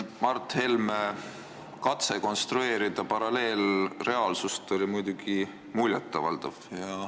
Mart Helme katse konstrueerida paralleelreaalsust oli muidugi muljet avaldav.